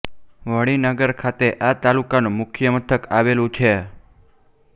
વણી નગર ખાતે આ તાલુકાનું મુખ્ય મથક આવેલું છે